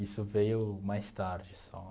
Isso veio mais tarde, só.